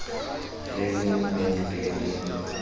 re le ne le le